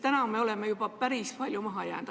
Praegu me oleme juba päris palju maha jäänud.